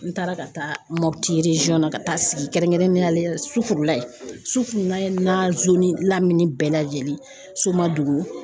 N taara ka taa Mopiti na ka taa sigi kɛrɛnkɛrɛnnenya la Sufurulayi, Sufurulayi n'a laminɛ bɛɛ lajɛlen Somadugu